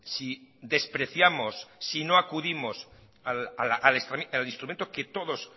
si despreciamos si no acudimos al instrumento que todos